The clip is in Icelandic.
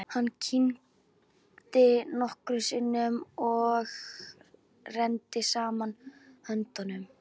Hann kyngdi nokkrum sinnum og neri saman höndunum.